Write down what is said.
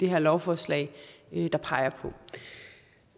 her lovforslag der peger på det